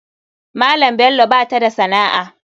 Maman bello bata da sana'a.